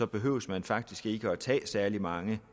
behøver man faktisk ikke at tage særlig mange